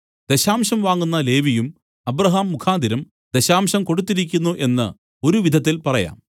ദശാംശം വാങ്ങുന്ന ലേവിയും അബ്രാഹാം മുഖാന്തരം ദശാംശം കൊടുത്തിരിക്കുന്നു എന്നു ഒരു വിധത്തിൽ പറയാം